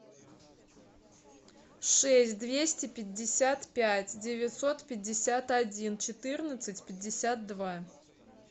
шесть двести пятьдесят пять девятьсот пятьдесят один четырнадцать пятьдесят два